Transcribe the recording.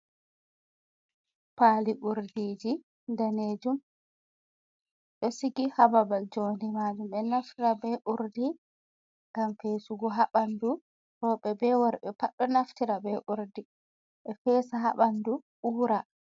Pali urdiji danejum ɗo sigi hababal jondi ma jum. ɓe naftira be urdi ngam fesugo ha ɓandu, roɓe be worɓe pat ɗo naftira be urdi, ɓe fesa haɓandu ura.